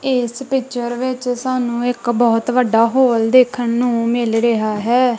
ਇੱਸ ਪਿਕਚਰ ਵਿੱਚ ਸਾਨੂੰ ਇੱਕ ਬਹੁਤ ਵੱਡਾ ਹੋਲ ਦੇਖਣ ਨੂੰ ਮਿਲ ਰਿਹਾ ਹੈ।